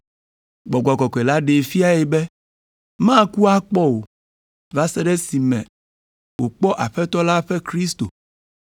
Gbɔgbɔ Kɔkɔe la ɖee fiae be maku akpɔ o, va se ɖe esime wòkpɔ Aƒetɔ la ƒe Kristo.